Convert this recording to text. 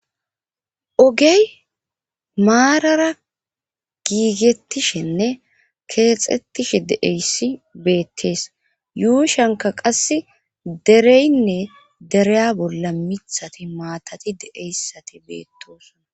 ogey maarara giigethishenne keexettishe de7eyssi bettes yuushankka qassi dereynne deriya bolla mithati maatati de7eyssati beettoosona